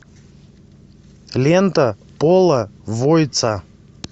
лента пола войтса